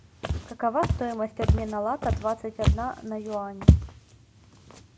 какова стоимость обмена лата двадцать одна на юани